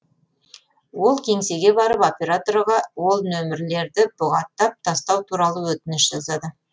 ол кеңсеге барып операторға ол нөмерлерді бұғаттап тастау туралы өтініш жазады